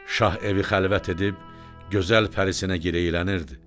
Şah evi xəlvət edib gözəl pərisinə girəylənirdi: